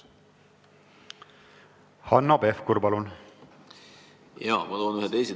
Hanno Pevkur, palun!